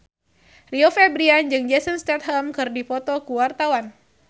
Rio Febrian jeung Jason Statham keur dipoto ku wartawan